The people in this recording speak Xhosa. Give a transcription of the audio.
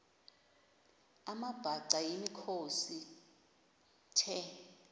amabhaca yimikhosi the